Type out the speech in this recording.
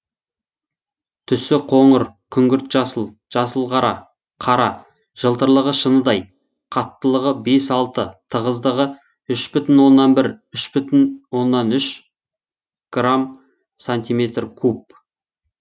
түсі қоңыр күңгірт жасыл жасыл қара қара жылтырлығы шыныдай қаттылығы бес алты тығыздығы үш бүтін оннан бір үш бүтін оннан үш грамм сантиметр куб